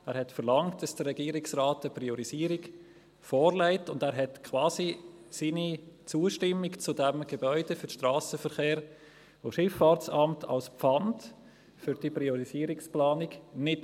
Er verlangte, dass der Regierungsrat eine Priorisierung vorlegt, und gewährte quasi als Pfand für die Priorisierungsplanung seine Zustimmung zu diesem Gebäude für das SVSA nicht.